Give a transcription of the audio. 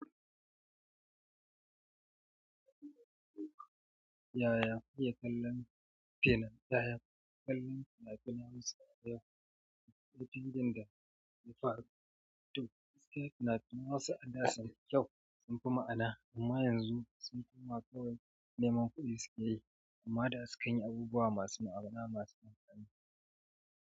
Yaya kake kallon finafinan yaya ya kallon fina-finai Hausa a da cikin ɗakin da ya fara tuƙi. Na tuna wasu al'adun kyau sun fi ma'ana, amma yanzu sun koma kawai nemon kuɗi suke yi, amma da sukan yi abubuwa masu ma'ana masu banƙya.